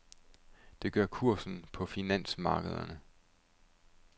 Det gør kursen på finansmarkederne.